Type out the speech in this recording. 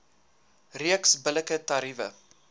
reeks billike tariewe